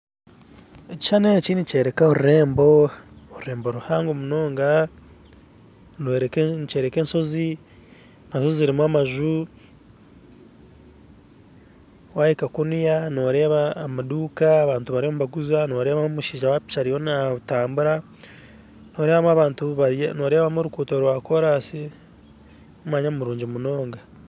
Ekishushani eki nikyoreka orurembo, orurembo ruhango munonga, nikyoreka enshozi nazo zirimu amaju, wahika kunuya nooreeba amaduka abantu bariyo nibaguza noreebamu amushaija wapiki ariyo natambura noreebamu abantu bariya noreebamu oruguuto rwakorasi omwanya murungi munonga